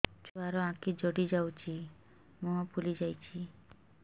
ଛୁଆର ଆଖି ଜଡ଼ି ଯାଉଛି ମୁହଁ ଫୁଲି ଯାଇଛି